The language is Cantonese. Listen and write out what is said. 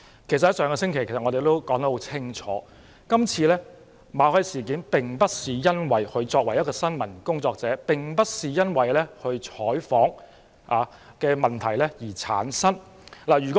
其實，我們上星期已說得很清楚，馬凱事件發生的原因，並非與他以新聞工作者的身份進行採訪有關。